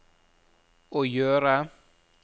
å gjøre